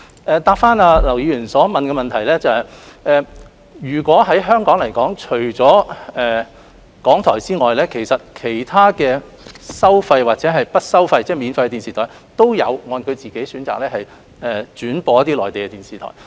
關於劉議員的補充質詢，就香港而言，除了港台外，其他收費電視台或免費電視台也有按照其選擇轉播一些內地電視節目。